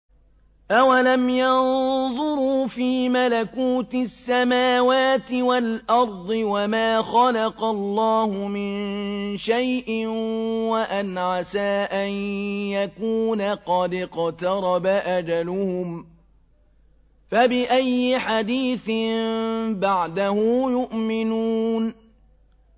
أَوَلَمْ يَنظُرُوا فِي مَلَكُوتِ السَّمَاوَاتِ وَالْأَرْضِ وَمَا خَلَقَ اللَّهُ مِن شَيْءٍ وَأَنْ عَسَىٰ أَن يَكُونَ قَدِ اقْتَرَبَ أَجَلُهُمْ ۖ فَبِأَيِّ حَدِيثٍ بَعْدَهُ يُؤْمِنُونَ